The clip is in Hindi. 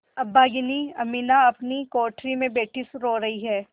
अभागिनी अमीना अपनी कोठरी में बैठी रो रही है